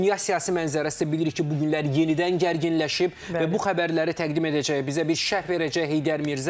Dünya siyasi mənzərəsi bilirik ki, bu günləri yenidən gərginləşib və bu xəbərləri təqdim edəcək, bizə bir şərh verəcək Heydər Mirzə.